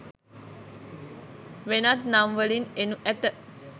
වෙනත් නම් වලින් එනු ඇත.